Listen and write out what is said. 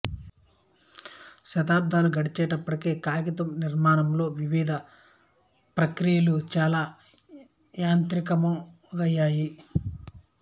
శతాబ్దాలు గడిచేటప్పటికి కాగితం నిర్మాణంలో వివిధ ప్రక్రియలు చాలా యాంత్రికమయ్యాయి